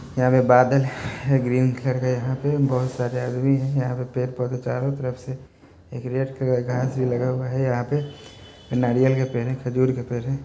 हिया पर बादल हेय ग्रीन कलर के यहां पे बहुत सारे आदमी हेय यहां पे पेड़-पौधे चारों तरफ से हरिहर कलर का घास भी लगा हुआ है यहां पे नारियल का पेड़ है खजूर का पेड़ है।